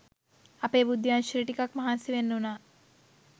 අපේ බුද්ධි අංශයට ටිකක් මහන්සිවෙන්න වුනා